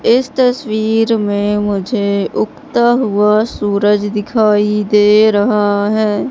इस तस्वीर में मुझे उगता हुआ सूरज दिखाई दे रहा है।